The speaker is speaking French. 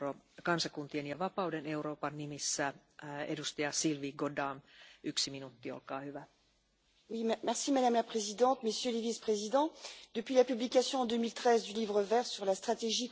Madame la Présidente, Messieurs les Vice-présidents, depuis la publication en 2013 du livre vert sur la stratégie concernant les plastiques, nous avons pris la mesure d'un problème majeur qui met gravement en danger l'environnement et la santé des Européens.